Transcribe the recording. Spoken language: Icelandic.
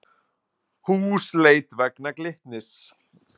Húsleit vegna Glitnis